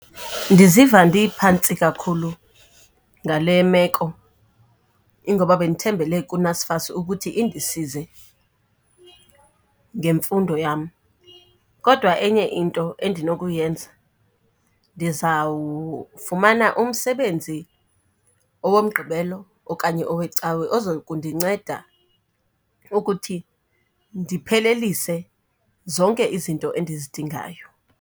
Ndiziva ndiphantsi kakhulu ngale meko, ingoba bendithembele kuNSFAS ukuthi indisize ngemfundo yam. Kodwa enye into endinokuyenza ndizawufumana umsebenzi owoMgqibelo okanye oweCawe ozokundinceda ukuthi ndiphelelise zonke izinto endizidingayo.